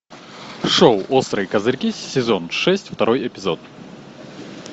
шоу острые козырьки сезон шесть второй эпизод